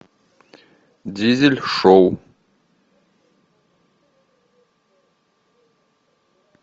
дизель шоу